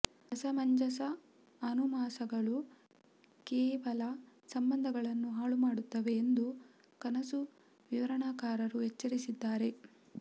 ಅಸಮಂಜಸ ಅನುಮಾನಗಳು ಕೇವಲ ಸಂಬಂಧಗಳನ್ನು ಹಾಳುಮಾಡುತ್ತವೆ ಎಂದು ಕನಸು ವಿವರಣಕಾರರು ಎಚ್ಚರಿಸಿದ್ದಾರೆ